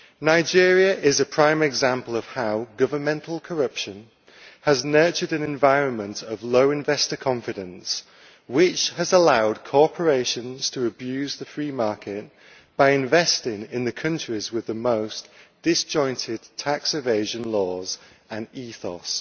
Nigeria is a prime example of how governmental corruption has nurtured an environment of low investor confidence, which has allowed corporations to abuse the free market by investing in the countries with the most disjointed tax evasion laws and ethos.